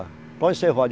Para onde você vai?